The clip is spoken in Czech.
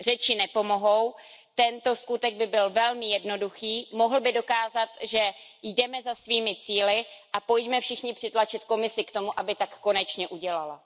Řeči nepomohou, tento skutek by byl velmi jednoduchý, mohl by dokázat, že jdeme za svými cíli a pojďme všichni přitlačit Komisi k tomu, aby tak konečně udělala.